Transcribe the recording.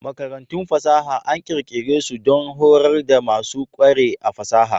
Makarantun fasaha an ƙirƙire su don horar da masu ƙware a fasaha.